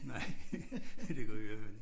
Nej det gør vi i hvert fald ikke